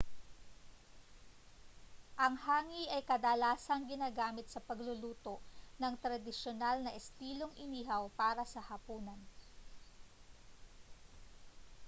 ang hangi ay kadalasang ginagamit sa pagluluto ng tradisyonal na estilong inihaw para sa hapunan